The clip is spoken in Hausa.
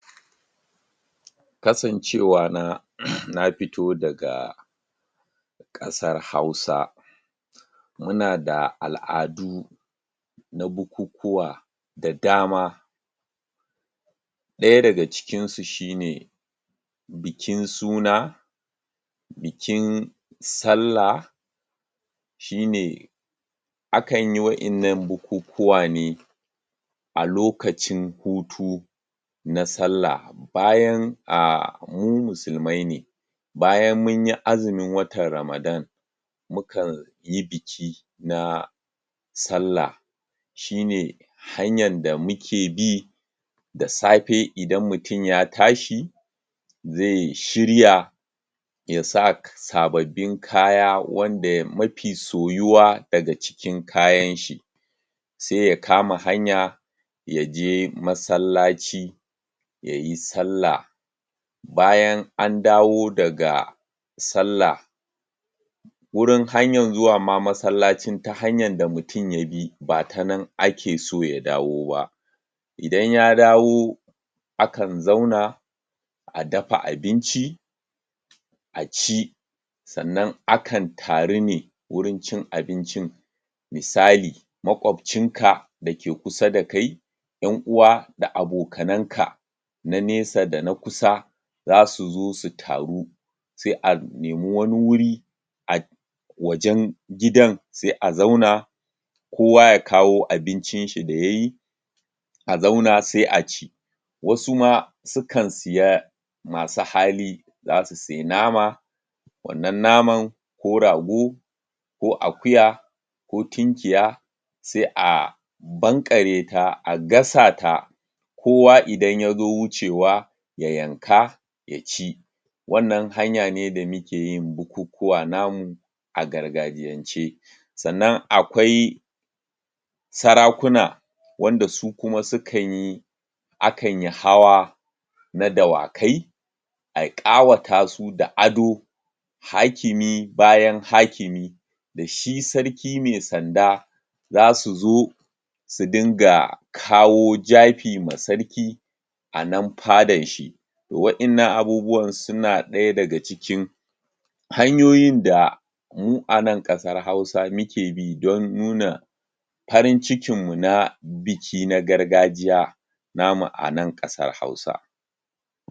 kasancewa na na fito daga kasar hausa muna da al'adu na bukukuwa da dama ɗaya daga cikinsu shine bikin suna bikin sallah shine akanyi wa'innan bukukuwa ne a lokacin hutu na sallah bayan ahh mu musulmaai ne bayan munyi azumun watan ramadan mukan yi biki na sallah shine hanyan da muke bi da safe idan mutum ya ta shi ze shirya ya sak.. ya sa sababbin kaya wanda ya.. mafi soyuwa daga cikin kayanshi se ya kama hanya yaje masallaci yayi sallah bayan andawo daga sallah wurin hanyan zuwa ma masallacin ta hanyan da mutum ya bi bata nan akeso ya dawo ba idan ya dawo akan zauna a dafa abinci aci sannan akan taru ne wurin cin abincin misali makwabcinka da ke kusa da kai yan uwa da abokananka na nesa da na kusa zasu zo su taru se a nemi wani wuri a wajen gidan se a zauna kowa ya kawo abincinshi da yayi a zauna se a ci wasu ma sukan siya masu hali zasu sayi nama wannan naman ko rago ko akuya ko tunkiya se a banare ta a gasa ta kowa idan yazo wucewa ya yanka ya ci wannan hanya ne da mukeyin bukukuwa namu a gargajiyance sannan akwai sarakuna wanda su kuma sukanyi akanyi hawa na dawakai a ƙawata su da ado hakimi bayan hakimi shi sarki me sanda zasu zo su dinga kawo jafi ma sarki a nan fadanshi wa innan abubuwan suna daya daga cikin hanyoyin da mu a nan ƙasar hausa muke bi don nuna farin cikin mu na biki na gargajiya namu a nan kasar hausa